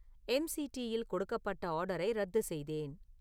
எம்.சி.டி.யில் கொடுக்கப்பட்ட ஆர்டரை ரத்து செய்தேன்